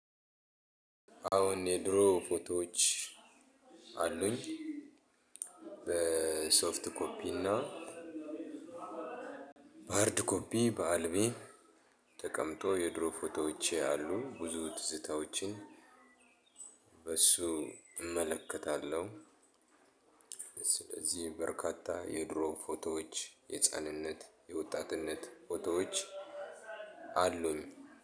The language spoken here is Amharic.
አሁን የድሮ ፎቶዎች አሉኝ። በሶፍት ኮፒ እና በሃርድ ኮፒ በአልቢ ተቀምጦ የድሮ ፎቶዎች አሉ። ብዙ ትዝታዎችን በሱ እመለከታለሁ። ስለዚህ በርካታ የድሮ ፎቶዎች የህፃንነት የወጣትነት ፎቶዎች አሉኝ።